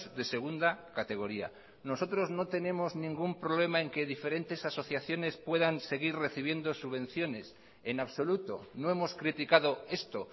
de segunda categoría nosotros no tenemos ningún problema en que diferentes asociaciones puedan seguir recibiendo subvenciones en absoluto no hemos criticado esto